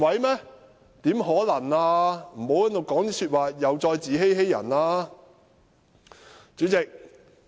請他們不要說這些自欺欺人的話！